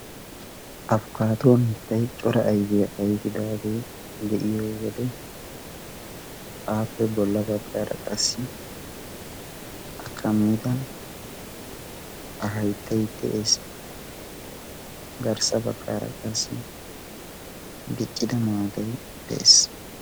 Afkkaatuwaa mittay cora aifiyaa aifidaagee de'iyo wode aappe bolla baggaara qassi a kammida a hayttay de'ees garssa baggaara qassi biccida maadai de'ees.